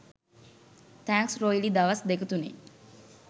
thanks රොයිලි දවස් දෙක තුනෙන්